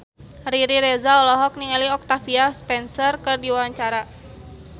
Riri Reza olohok ningali Octavia Spencer keur diwawancara